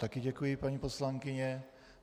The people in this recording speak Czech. Také děkuji paní poslankyně.